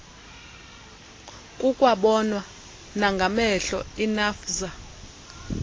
kukwabonwa nangamehlo inafvsa